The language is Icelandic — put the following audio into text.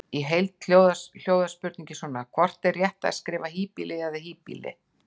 Í heild hljóðar spurningin svona: Hvort er rétt að skrifa híbýli eða hýbýli?